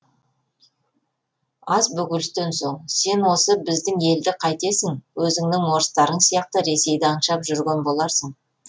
аз бөгелістен соң сен осы біздің елді қайтесің өзіңнің орыстарың сияқты ресейді аңсап жүрген боларсың